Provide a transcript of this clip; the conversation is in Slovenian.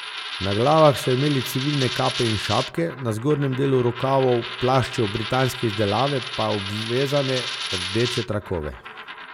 Na glavah so imeli civilne kape in šapke, na zgornjem delu rokavov plaščev britanske izdelave pa obvezane rdeče trakove.